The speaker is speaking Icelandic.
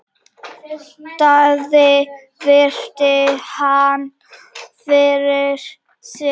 Daði virti hann fyrir sér.